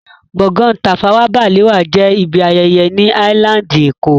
Gbọ̀ngán Tafawa Balewa jẹ́ ibi ayẹyẹ ni áílándì èkó